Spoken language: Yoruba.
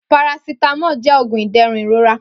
Paracetamol jẹ oogun iderun irora.